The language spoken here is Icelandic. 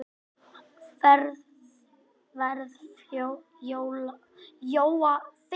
Vitanlega sé þetta hennar saga.